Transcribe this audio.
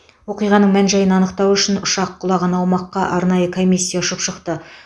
оқиғаның мән жайын анықтау үшін ұшақ құлаған аумаққа арнайы комиссия ұшып шықты